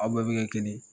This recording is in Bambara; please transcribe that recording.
Aw bɛɛ bɛ kɛ kelen ye